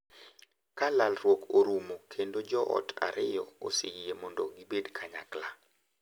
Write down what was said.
Ka lalruok orumo kendo joot ariyogo oseyie mondo gibed kanyakla,